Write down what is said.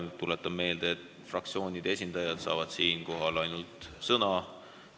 Tuletan meelde, et sõna saavad ainult fraktsioonide esindajad.